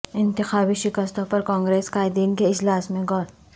انتخابی شکستوں پر کانگریس قائدین کے اجلاس میں غور